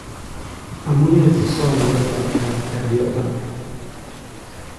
Amunee sosoom nyoetab kaat Guardiola?